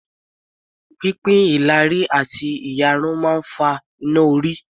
Pínpín ìlàrí àti ìyarun máa ń fa iná-orí